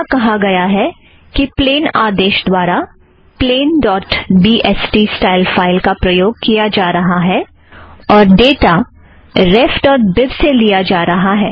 यहाँ कहा गया है कि प्लेन आदेश द्वारा plain dot B S T style file का प्रयोग किया जा रहा है और तारीख रेफ़ ड़ॉट बीब से लिया जा रहा है